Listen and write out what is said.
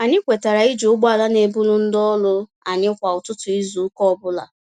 Anyị kwetara iji ụgbọala n'eburu ndị ọrụ anyị kwá ụtụtụ izu ụka ọbula